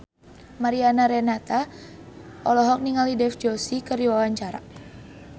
Mariana Renata olohok ningali Dev Joshi keur diwawancara